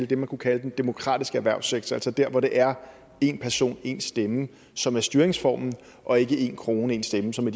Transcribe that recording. det man kunne kalde den demokratiske erhvervssektor altså dér hvor det er én person én stemme som er styringsformen og ikke én krone én stemme som